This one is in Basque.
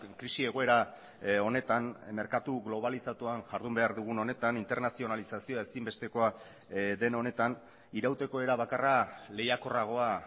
krisi egoera honetan merkatu globalizatuan jardun behar dugun honetan internazionalizazioa ezinbestekoa den honetan irauteko era bakarra lehiakorragoa